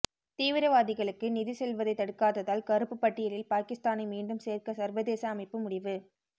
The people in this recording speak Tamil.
தீவிரவாதிகளுக்கு நிதி செல்வதை தடுக்காததால் கறுப்புப் பட்டியலில் பாகிஸ்தானை மீண்டும் சேர்க்க சர்வதேச அமைப்பு முடிவு